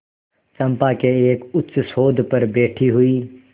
चंपा के एक उच्चसौध पर बैठी हुई